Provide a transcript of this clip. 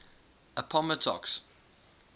appomattox